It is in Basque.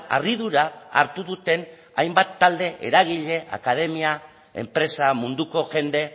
harridura hartu duten hainbat talde eragile akademia enpresa munduko jende